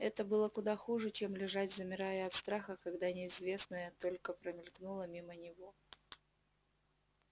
это было куда хуже чем лежать замирая от страха когда неизвестное только промелькнуло мимо него